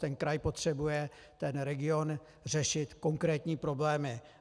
Ten kraj potřebuje, ten region, řešit konkrétní problémy.